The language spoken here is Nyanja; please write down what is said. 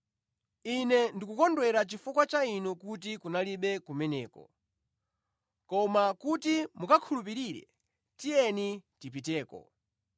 Ine ndikukondwera chifukwa cha inu kuti kunalibe kumeneko; koma kuti mukakhulupirire tiyeni tipiteko.”